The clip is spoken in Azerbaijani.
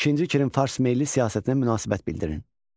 İkinci Kirin farsmeyli siyasətinə münasibət bildirin.